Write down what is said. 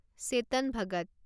Chetan Bhagat